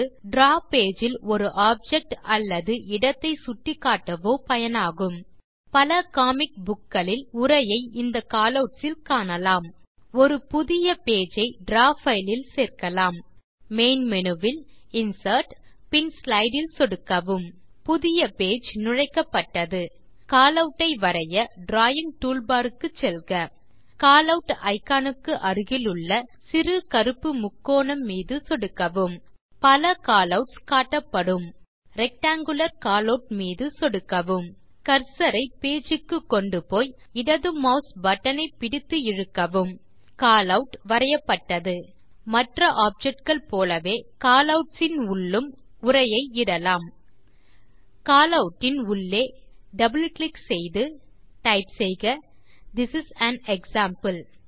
draw page இல் ஒரு object அல்லது இடத்தை சுட்டிக்காட்டவோ பயனாகும் பல காமிக் புக் களில் உரையை இந்த காலவுட்ஸ் இல் காணலாம் ஒரு புதிய பேஜ் ஐ டிராவ் பைல் இல் சேர்க்கலாம் மெயின் மேனு வில் இன்சர்ட் பின் ஸ்லைடு இல் சொடுக்கவும் புதிய பேஜ் நுழைக்கப்பட்டது காலவுட் ஐ வரைய டிராவிங் டூல்பார் க்கு செல்க காலவுட் இக்கான் க்கு அருகிலுள்ள சிறு கருப்பு முக்கோணம் மீது சொடுக்கவும் பல காலவுட்ஸ் காட்டப்படும் ரெக்டாங்குலர் காலவுட் மீது சொடுக்கவும் கர்சர் ஐ பேஜ் க்கு கொண்டுப்போய் இடது mouse பட்டன் ஐ பிடித்து இழுக்கவும் காலவுட் வரையப்பட்டது மற்ற ஆப்ஜெக்ட் கள் போலவே காலவுட் உள்ளும் உரையை இடலாம் காலவுட் இன் உள்ளே இரட்டை சொடுக்கி டைப் செய்க திஸ் இஸ் ஆன் எக்ஸாம்பிள்